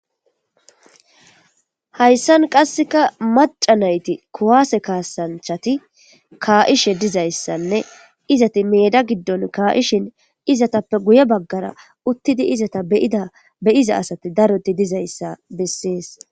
Haysan qaseka mac'a nayti kuwase kasanchati ka'ishe dizaysane izati meda gidon ka'ishin izetappe guye bagara utidi izeta be'ida be'za sati daroti de'izaysa beses.